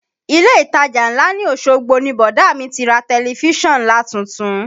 Ilé ìtajà ńlá ní Osogbo ni bọ̀dá mi ti ra tẹ̀lifísàn nlatuntun